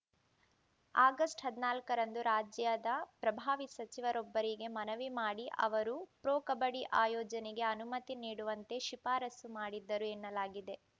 August ಹದಿನಾಲ್ಕರಂದು ರಾಜ್ಯದ ಪ್ರಭಾವಿ ಸಚಿವರೊಬ್ಬರಿಗೆ ಮನವಿ ಮಾಡಿ ಅವರೂ ಪ್ರೊ ಕಬಡ್ಡಿ ಆಯೋಜನೆಗೆ ಅನುಮತಿ ನೀಡುವಂತೆ ಶಿಫಾರಸು ಮಾಡಿದ್ದರು ಎನ್ನಲಾಗಿದೆ